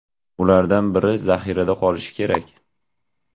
Ulardan biri zaxirada qolishi kerak.